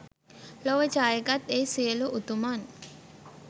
ලොව ජයගත් ඒ සියලු උතුමන්